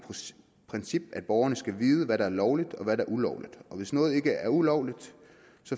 princip at borgerne skal vide hvad der er lovligt og hvad der er ulovligt hvis noget ikke er ulovligt